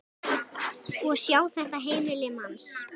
Og sjá þetta heimili manns.